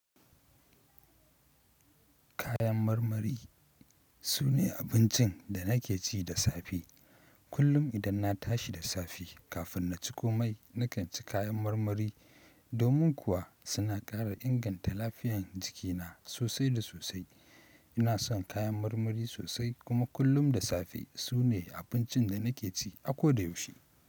Kayan marmari sune abincin da nake ci da safe. Kullum idan na tashi da safe kafin na ci komai, nakan ci kayan marmari. Domin kuwa suna ƙara inganta lafiyan jikina sosai da sosai. Ina son kayan marmari sosai kuma kullum da safe sune abincin da nake ci akoda yaushe.